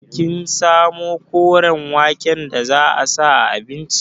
Kin samu koren waken da za a sa a abincin?